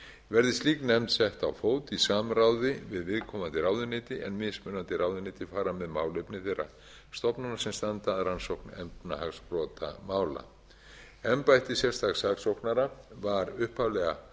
verði slík nefnd sett á fót í samráði við viðkomandi ráðuneyti en mismunandi ráðuneyti fara með málefni þeirra stofnunum sem standa að rannsókn efnahagsbrotamála embætti sérstaks saksóknara var upphaflega